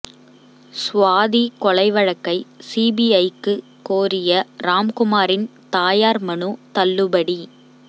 சுவாதி கொலை வழக்கை சிபிஐக்கு கோரிய ராம்குமாரின் தாயார் மனு தள்ளுபடி